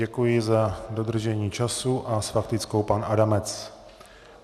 Děkuji za dodržení času a s faktickou pan Adamec.